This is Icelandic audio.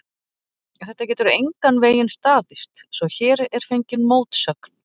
Þetta getur engan veginn staðist, svo hér er fengin mótsögn.